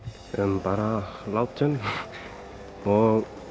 bara látum og